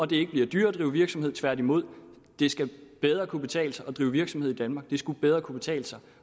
det ikke bliver dyrere at drive virksomhed men tværtimod det skal bedre kunne betale sig at drive virksomhed i danmark det skal bedre kunne betale sig